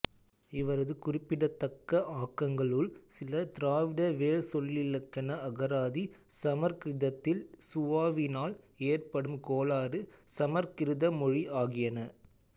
இவரது குறிப்பிடத்தக்க ஆக்கங்களுள் சில திராவிட வேர்ச்சொல்லிலக்கண அகராதி சமற்கிருதத்தில் சுவாவினால் ஏற்படும் கோளாறு சமற்கிருத மொழி ஆகியன